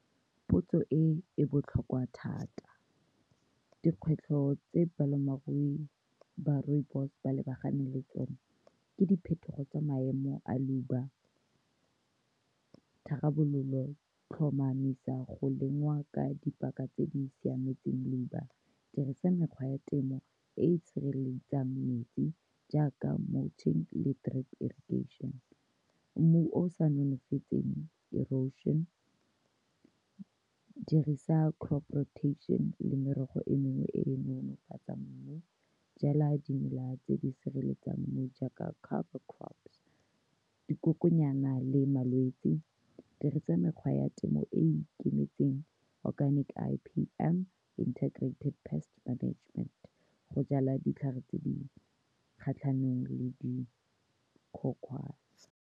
Potso e e botlhokwa thata, dikgwetlho tse balemirui ba rooibos ba lebaganeng le tsone ke diphetogo tsa maemo a leuba. Tharabololo tlhomamisa go lengwa ka dipaka tse di siametseng labour, dirisa mekgwa ya temo e e sireletsang metsi jaaka le drip irrigation. Mmu o o sa nonofetseng erosion-ne, dirisa crop rotation-ne le merogo e mengwe e e nolofatsang mmu. Jala dimela tse di sireletsang mmu jaaka cover crops, dikokonyana le malwetsi. Dirisa mekgwa ya temo e e ikemetseng, organic, I_P_M Integrated Pest Management go jala ditlhare tse di kgatlhanong le dikhukhwana.